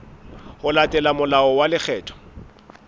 ho latela molao wa lekgetho